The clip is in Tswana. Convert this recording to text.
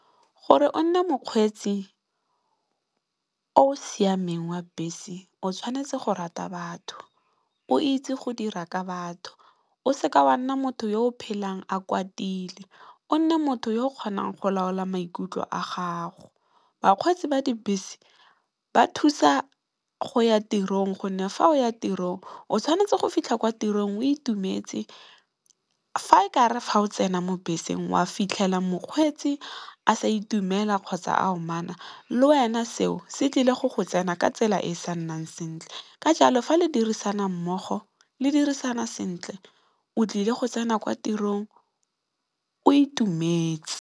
Gore o nne mokgweetsi o o siameng wa bese o tshwanetse go rata batho, o itse go dira ka batho, o seka wa nna motho yo o phelang a kwatile, o nne motho yo o kgonang go laola maikutlo a gago. Bakgweetsi ba dibese ba thusa go ya tirong gonne, fa o ya tirong o tshwanetse go fitlha kwa tirong o itumetse. Fa e kare fa o tsena mo beseng wa fitlhela mokgweetsi a sa itumela kgotsa, a omanya le wena seo se tlile go go tsena ka tsela e e sa nnang sentle ka jalo fa le dirisana mmogo le dirisana sentle o tlile go tsena kwa tirong o itumetse.